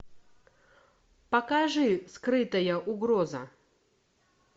покажи скрытая угроза